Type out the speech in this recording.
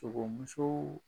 Sogomusow